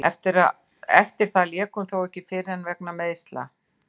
Eftir það lék hún þó ekki fyrr en í fyrra vegna meiðsla.